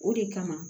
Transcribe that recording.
O de kama